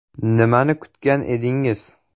Nimani kutgan edingiz?